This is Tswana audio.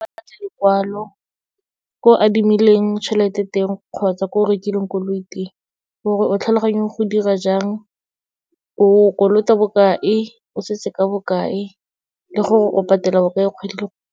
Ba batla lekwalo, ko adimileng tšhelete teng kgotsa ko o rekileng koloi teng, gore o tlhaloganye go dira jang, o kolota bokae, o setse ka bokae le gore o patela bokae kgwedi le kgwedi.